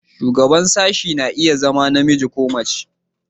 Shugaban sashen na iya zama namiji ko mace.